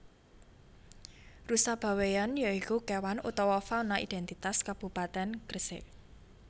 Rusa Bawean ya iku kewan utawa fauna identitas Kabupatèn Gresik